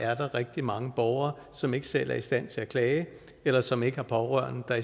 er der rigtig mange borgere som ikke selv er i stand til at klage eller som ikke har pårørende der